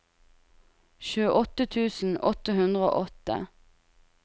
tjueåtte tusen åtte hundre og åtte